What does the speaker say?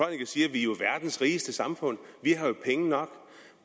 vi jo er verdens rigeste samfund at vi har penge nok